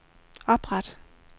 opret